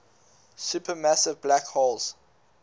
supermassive black holes